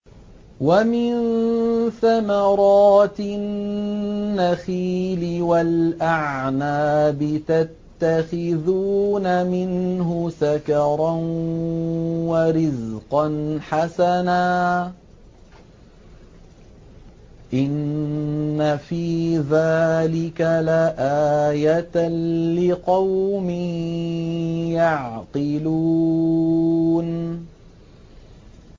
وَمِن ثَمَرَاتِ النَّخِيلِ وَالْأَعْنَابِ تَتَّخِذُونَ مِنْهُ سَكَرًا وَرِزْقًا حَسَنًا ۗ إِنَّ فِي ذَٰلِكَ لَآيَةً لِّقَوْمٍ يَعْقِلُونَ